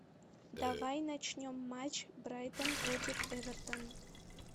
давай начнем матч брайтон против эвертон